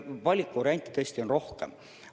Valikuvariante tõesti on rohkem.